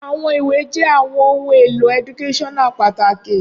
Awọn iwe jẹ awọn ohun elo eductaional pataki